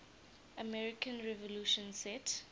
american revolution set